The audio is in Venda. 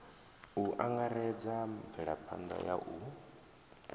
u angaredza mvelaphanḓa ya u